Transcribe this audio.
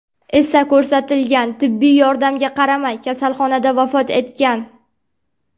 esa ko‘rsatilgan tibbiy yordamga qaramay, kasalxonada vafot etgan.